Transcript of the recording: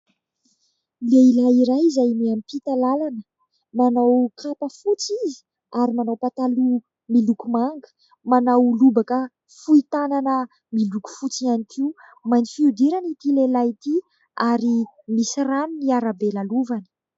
Lehilahy iray izay miampita lalana. Manao kapa fotsy izy ary manao pataloha miloko manga. Manao lobaka fohy tanana miloko fotsy ihany koa. Mainty fihodirana ity lehilahy ity ary misy rano ny arabe lalovany.